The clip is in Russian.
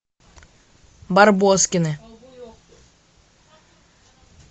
барбоскины